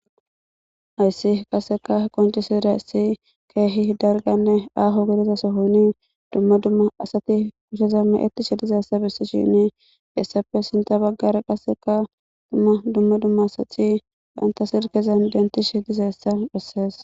Hayisi qaseka qomcisidayisi kehi daliganne aho gidida sohoni dumma dumma asati kusheza mecetishe dizayisa heyisappe sinta bagara qaseka dumma dumma asati banta silken dentishin dizayisa beses.